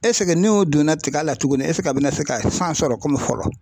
n'o donna tigɛ la tuguni a bi na se ka san sɔrɔ komi fɔlɔ ?